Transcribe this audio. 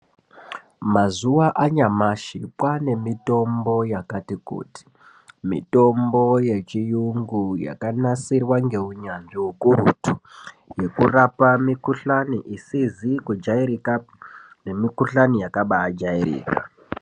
Mazuwa anyamashi kwaañemitombo yakati kuti mitombo yechiyugu yakanasirwa ngeunyanzvi ukurutu yekurapa mukuhlañi isizi kujairika nemikuhlani yakabaajairika.